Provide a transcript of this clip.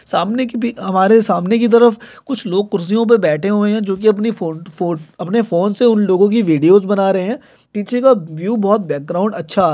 सामने की भी हमारे सामने की तरफ कुछ लोग कुर्सियों पर बैठे हुए है जो कि अपनी फो-फो अपने फोन से उन लोगों की वीडियोस बना रहे है पीछे का व्यू बहुत बैकग्राउंड अच्छा--